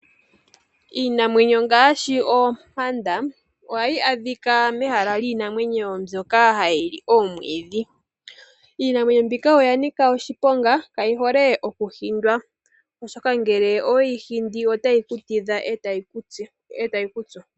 Iinamwenyo ngaashi oompanda oha yi adhika mehala lyiinamwenyo mbyoka hayi li omwiidhi. Iinamwenyo mbika oya nika oshiponga kayi hole okuhindwa oshoka ngele oweyi hindi otayi ku tidha e tayi ku tsu.